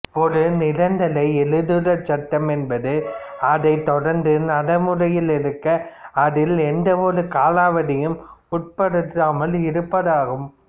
ஒரு நிரந்தர எழுத்துருச் சட்டம் என்பது அது தொடர்ந்து நடைமுறையில் இருக்க அதில் எந்தவொரு காலாவதியும் உட்படுத்தாமல் இருப்பதாகும்